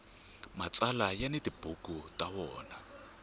mtsalwa ya ni tibuku ta wona